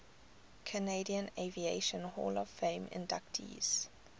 canadian aviation hall of fame inductees